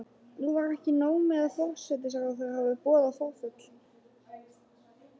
Nú var ekki nóg með að forsætisráðherra hafði boðað forföll.